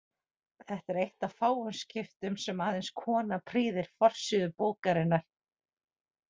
Þetta er eitt af fáum skiptum sem aðeins kona prýðir forsíðu bókarinnar.